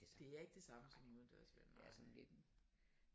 Det er ikke det samme som udendørs vil jeg nok sige